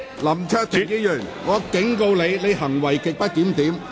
林卓廷議員，我警告你，你行為極不檢點。